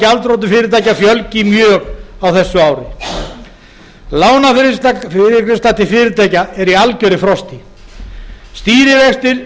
gjaldþrotum fyrirtækja fjölgi mjög á þessu ári lánafyrirgreiðsla til fyrirtækja er í algjöru frosti stýrivextir